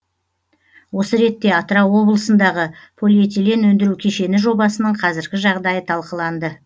осы ретте атырау облысындағы полиэтилен өндіру кешені жобасының қазіргі жағдайы талқыланды